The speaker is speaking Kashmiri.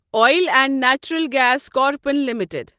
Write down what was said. oil and Natural Gas Corporation limited